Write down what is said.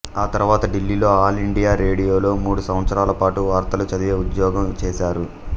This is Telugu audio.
ఆ తర్వాత ఢిల్లీలో ఆల్ ఇండియా రేడియోలో మూడు సంవత్సరాలపాటు వార్తలు చదివే ఉద్యోగం చేసారు